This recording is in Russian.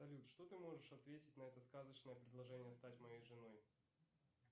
салют что ты можешь ответить на это сказочное предложение стать моей женой